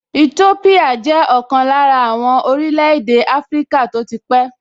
Ètópíyà jẹ́ ọ̀kan lára àwọn orílẹ̀-èdè áfríkà tó ti pẹ́